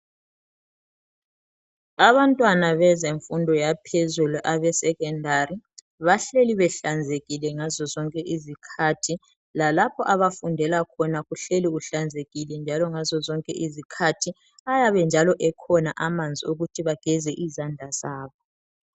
Abantwana bezenfudo yaphezulu abesecondary. Bahleli behlanzekile ngazo zonke izikhathi ,lalapho abafundela khona .kuhleli kuhlanzekile njalo ngazo zonke izikhathi, ayabe njalo ekhona amanzi okuthi bageze izandla zabo.